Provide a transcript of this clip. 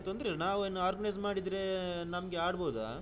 ಇಲ್ಲಾ ತೊಂದ್ರೆ ಇಲ್ಲ ನಾವು organize ಮಾಡಿದ್ರೆ ನಮ್ಗೆ ಆಡ್ಬಹುದಾ?